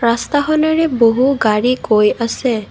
ৰাস্তাখনৰে বহু গাড়ী গৈ আছে।